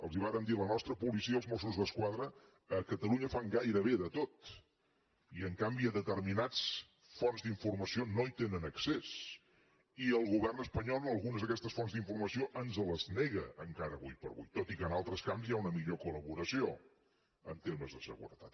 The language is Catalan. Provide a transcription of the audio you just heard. els vàrem dir la nostra policia els mossos d’esquadra a catalunya fan gairebé de tot i en canvi a determinades fonts d’informació no hi tenen accés i el govern espanyol algunes d’aquestes fonts d’informació ens les nega encara avui per avui tot i que en altres camps hi ha una millor col·laboració en termes de seguretat